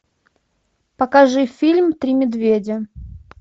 покажи фильм три медведя